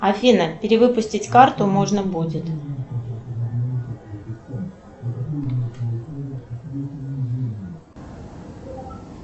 афина перевыпустить карту можно будет